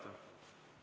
Kordan.